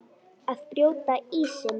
Að brjóta ísinn